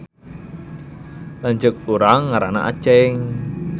Lanceuk urang ngaranna Aceng